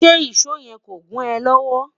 ṣé ìsọ yen kọ gùn é lówó?